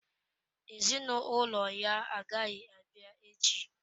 Ezinụlọ ya agaghị abịa echi.